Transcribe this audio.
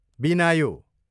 बिनायो